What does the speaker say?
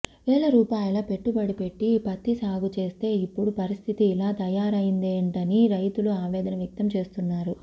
వేల రూపాయల పెట్టుబడి పెట్టి పత్తి సాగు చేస్తే ఇప్పుడు పరిస్థితి ఇలా తయారైందేంటని రైతులు ఆవేదన వ్యక్తం చేస్తున్నారు